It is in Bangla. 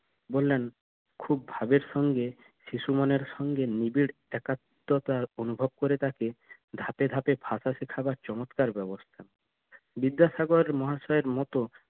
বললেন খুব ভাবের সঙ্গে শিশুমনের সঙ্গে নিবিড় একাত্বতা অনুভব করে তাকে ধাপে ধাপে ভাষা শিখাবার চমৎকার ব্যবস্থা বিদ্যাসাগর মহাশয়ের মত